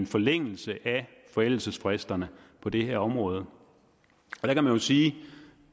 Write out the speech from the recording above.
forlængelse af forældelsesfristerne på det her område der kan man sige at